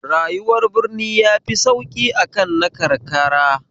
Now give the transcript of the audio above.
Rayuwar birni yafi sauki akan rayuwar karkara